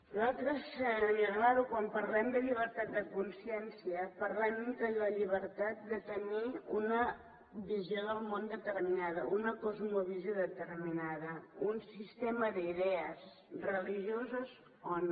nosaltres senyora olano quan parlem de llibertat de consciència parlem de la llibertat de tenir una visió del món determinada una cosmovisió determinada un sistema d’idees religioses o no